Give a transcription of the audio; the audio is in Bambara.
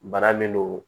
Bana min don